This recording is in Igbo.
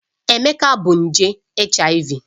Emeka bu nje HIV